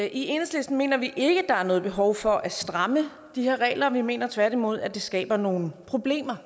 i enhedslisten mener vi ikke der er noget behov for at stramme de her regler vi mener tværtimod at det skaber nogle problemer